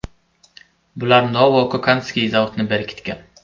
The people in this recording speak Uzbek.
Bular Novo-Kokandskiy zavodni berkitgan.